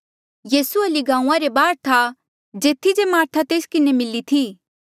यीसू हल्ली गांऊँआं रे बाहर था जेथी जे मार्था तेस किन्हें मिली थी